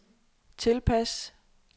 tilpas